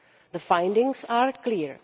The findings are clear.